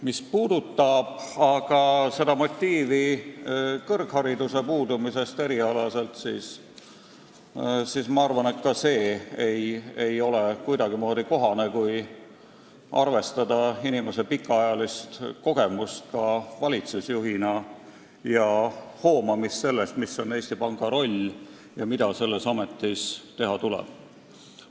Mis puudutab aga seda, et tal puudub erialane kõrgharidus, siis ma arvan, et ka see ei ole kuidagimoodi kohane motiiv, kui arvestada inimese pikaajalist kogemust valitsusjuhina ning selle hoomamist, mis on Eesti Panga roll ja mida selles ametis teha tuleb.